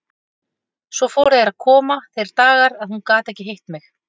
Svo fóru að koma þeir dagar að hún gat ekki hitt mig.